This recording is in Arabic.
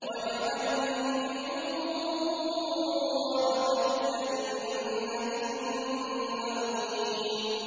وَاجْعَلْنِي مِن وَرَثَةِ جَنَّةِ النَّعِيمِ